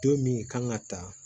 Don min kan ka ta